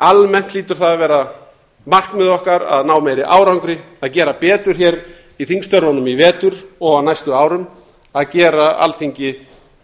almennt hlýtur það að vera markmið okkar að ná meiri árangri að gera betur hér í þingstörfunum í vetur og á næstu árum að gera alþingi